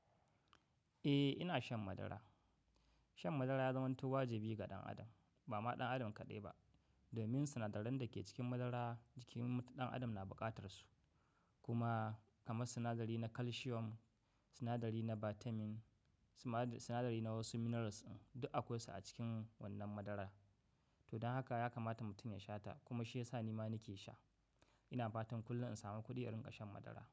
Eh ina shan madara. Shan madara ya zama wajibi ga ɗan adam, ba ma ɗan adam kaɗai ba. Domin sinadaran da ke cikin madara jikin ɗan adam na buƙatar su. Kuma kamar sinadari na calcium, sinadari na vitamin, sinadari na wasu minerals duk akwai su a cikin wannan madarar. To don haka ya kamata mutum ya sha ta kuma shi ya sa nima nake sha. Ina fatan kullum in samu kuɗi in riƙa shan madara.